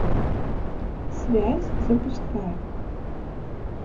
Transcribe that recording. связь запускай